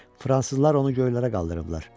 Fransızlar onu göylərə qaldırıblar.